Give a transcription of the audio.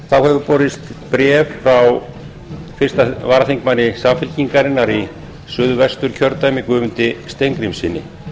þá hefur borist bréf frá fyrstu varaþm samfylkingarinnar í suðvesturkjördæmi guðmundi steingrímssyni